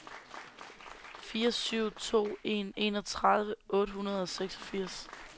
fire syv to en enogtredive otte hundrede og seksogfirs